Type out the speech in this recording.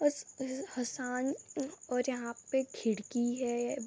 उस उस हासन और यहाँ पे खिड़की है।